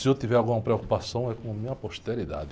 Se eu tiver alguma preocupação é com a minha posteridade.